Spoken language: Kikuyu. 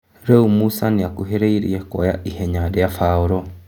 Rĩ u Musa nĩ akuhĩ rĩ irie kuoya ithenya rĩ a Baũrũ.